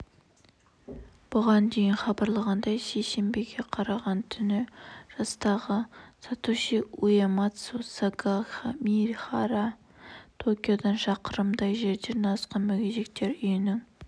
бұған дейін хабарланғандай сейсенбіге қараған түні жастағы сатоси уэмацу сагамихара токиодан шақырымдай жерде орналасқан мүгедектер үйінің